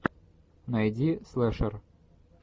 найди слешер